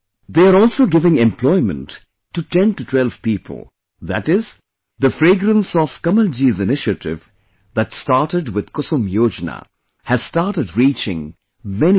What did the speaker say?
They are also giving employment to 1012 people, that is, the fragrance of Kamalji's initiative that started with Kusum Yojana, has started reaching many people